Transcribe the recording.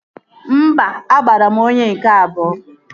Mba, agbara m onye nke abụọ